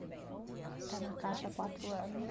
Está na caixa há quatro anos.